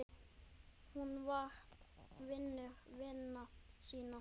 Hún var vinur vina sinna.